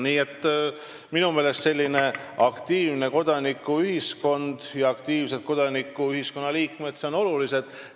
Nii et minu meelest on selline aktiivne kodanikuühiskond ja aktiivsed ühiskonnaliikmed olulised.